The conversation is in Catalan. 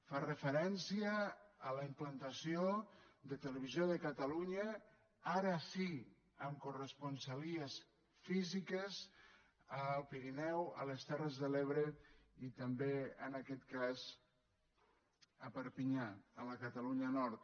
fa referència a la implantació de televisió de catalunya ara sí amb corresponsalies físiques a l’alt pirineu a les terres de l’ebre i també en aquest cas a perpinyà a la catalunya nord